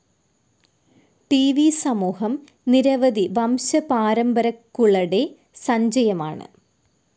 ട്‌ വി സമൂഹം നിരവധി വംശപാരമ്പരക്കുളടെ സഞ്ചയമാണ്.